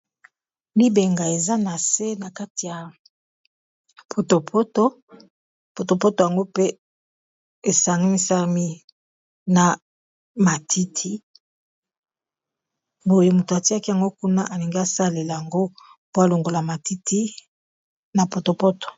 libenga eza na se na kati ya potopoto yango mpe esangmisami na matiti boye moto atiaki yango kuna alingi asalela yango po alongola matiti na potopoto